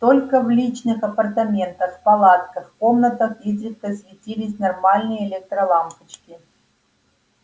только в личных апартаментах палатках комнатах изредка светились нормальные электролампочки